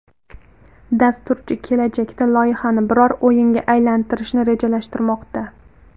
Dasturchi kelajakda loyihani biror o‘yinga aylantirishni rejalashtirmoqda.